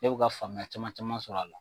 Ne bɛ ka faamuya caman caman sɔr'a la.